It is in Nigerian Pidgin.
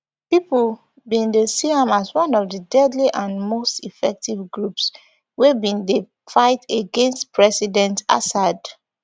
pipo bin dey see am as one of di deadly and most effective groups wey bin dey fight against president assad